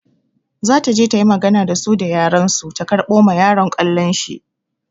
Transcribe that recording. Za ta je ta yi magana da su da yaren su ta karɓo ma yaron ƙwallon shi.